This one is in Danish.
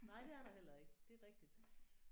Nej det er der heller ikke. Det er rigtigt